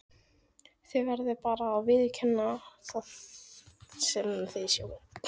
Þið verðið bara að viðurkenna það sem þið sjáið.